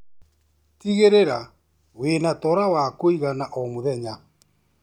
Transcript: Tigĩrĩra winatora wa kũigana o mũthenya.